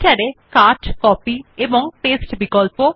writer এ cut copy এবং paste বিকল্প